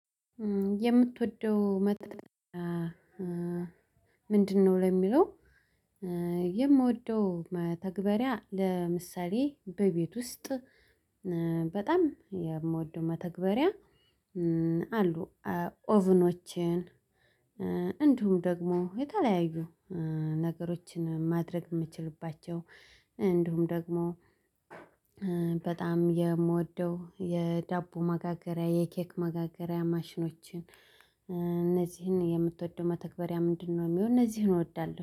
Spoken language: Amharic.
የምትወደው መጥጥ ምንድነው? ለሚለው የምወደው መተግበሪያ ለምሳሌ በቤት ውስጥ በጣም የምወደው መተግበሪያ። አሉ ኦቭኖችን እንዲሁም ደግሞ የተለያዩ ነገሮችን ማድረግ የምትችልባቸው እንዲሁም ደግሞ በጣም የምወደው የዳቦ መጋገሪያ የኬክ መጋገሪያ። ማሽኖችን እነዚህን የምትወደው መተግበሪያ ምንድነው የሚሆነው? እነዚህን እወዳለሁ